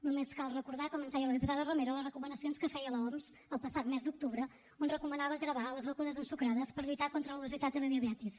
només cal recordar com ens deia la diputada romero les recomanacions que feia l’oms el passat mes d’octubre on recomanava gravar les begudes ensucrades per lluitar contra l’obesitat i la diabetis